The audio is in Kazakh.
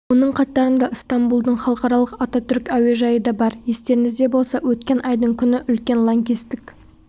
оның қатарында ыстамбұлдың халықаралық ататүрік әуежайы да бар естеріңізде болса өткен айдың күні үлкен лаңкестік